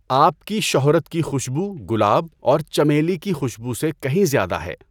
آپ کی شہرت کی خوشبو گلاب اور چمیلی کی خوشبو سے کہیں زیادہ ہے۔